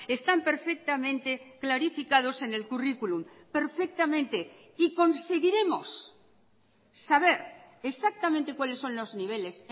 están perfectamente clarificados en el currículum perfectamente y conseguiremos saber exactamente cuales son los niveles